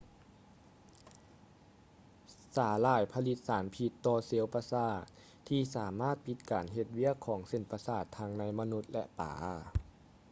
ສາຫຼ່າຍຜະລິດສານພິດຕໍ່ເຊວປະສາດທີ່ສາມາດປິດການເຮັດວຽກຂອງເສັ້ນປະສາດທັງໃນມະນຸດ ແລະ ປາ